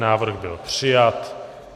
Návrh byl přijat.